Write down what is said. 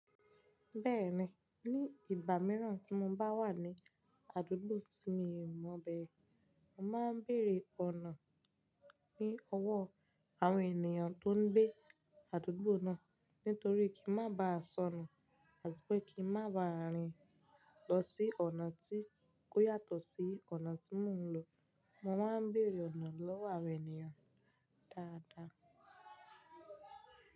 Bẹ́ẹ̀ni, ní ìgbà mìíràn tí mo bá wà ní àdúgbò tí mi ò mọ̀ bẹ́ẹ̀, mo máa ń bèèrè ọ̀nà ní ọwọ́ àwọn ènìyàn tó ń gbé àdúgbò náà. Nítorí kí n má baà sọnù, àti pé kí n má baà rìn lọ sí ọ̀nà tí kò yàtọ̀ sí ọ̀nà tí mò ń lọ, mo máa ń bèèrè ọ̀nà lọ́wọ́ àwọn ènìyàn dáadáa.